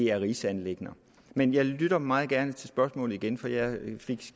er rigsanliggender men jeg lytter meget gerne til spørgsmålet igen for jeg fik